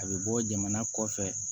A bɛ bɔ jamana kɔfɛ